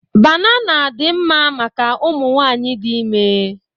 Banana dị mma maka ụmụ nwaanyị dị ime.